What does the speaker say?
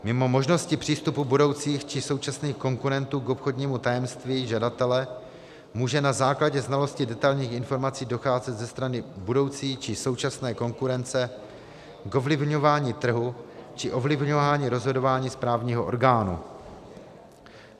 Mimo možnosti přístupu budoucích či současných konkurentů k obchodnímu tajemství žadatele může na základě znalosti detailních informací docházet ze strany budoucí či současné konkurence k ovlivňování trhu či ovlivňování rozhodování správního orgánu.